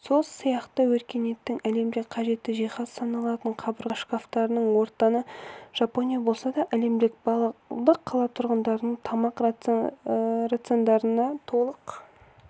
сол сияқты өркениеттік әлемде қажетті жиһаз саналатын қабырға шкафтарының отаны жапония болса ал әлемдегі барлық қала тұрғындарының тамақ рациондарына толық